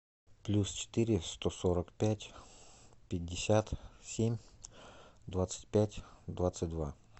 плюс четыре сто сорок пять пятьдесят семь двадцать пять двадцать два